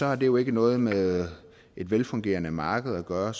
har det jo ikke noget med et velfungerende marked at gøre